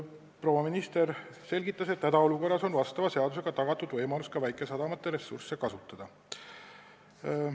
Proua minister selgitas, et hädaolukorras on sellekohase seadusega juba tagatud võimalus ka väikesadamate ressursse kasutada.